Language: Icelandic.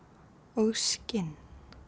og skinn